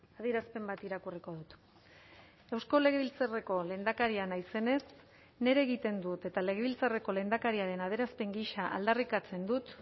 adierazpen bat irakurriko dut eusko legebiltzarreko lehendakaria naizenez nire egiten dut eta legebiltzarreko lehendakariaren adierazpen gisa aldarrikatzen dut